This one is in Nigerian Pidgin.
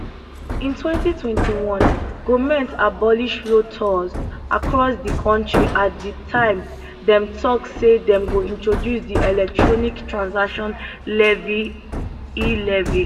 in 2021 goment abolish road tolls across di kontri at di time dem tok say dem go introduce di electronic transaction levy elevy